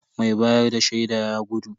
Mai bayar da shaida ya gudu.